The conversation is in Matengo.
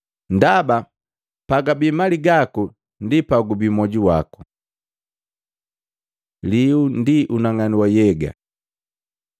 Ndaba pagabi mali gaku ndi pagubii moju waku.” Lihu ndi unang'anu wa nhyega Luka 11:34-36